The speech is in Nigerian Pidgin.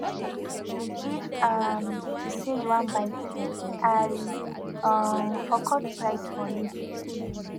if um to say you wan buy three i um for cut price for you